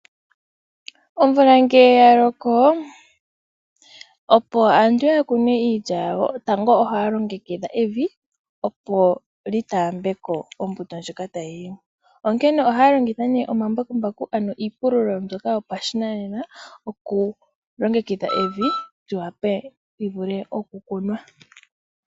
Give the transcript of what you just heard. Omvula ngele yaloko opo aantu ya kune iilya yawo, tango ohaya longekidha evi opo li taambe ko ombito ndjoka tayi yimo, onkene ohaya longitha omambakumbaku ano iipululo mbyoka yopashinanena okulongekidha evi li wape li vule okukunwa.